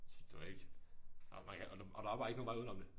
Det var ikke og man kan og der var bare ingen vej udenom det